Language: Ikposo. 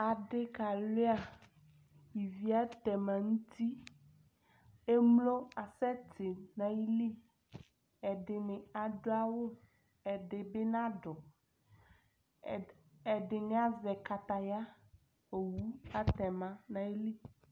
Adi ka lua ivi atɛma nu uti emlo asɛ ti nu ayili ɛdini adu awu ɛdini nadu ɛdini azɛ kataya owu atɛma nu ayili